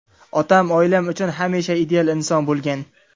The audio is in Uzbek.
Otam – oilamiz uchun hamisha ideal inson bo‘lgan.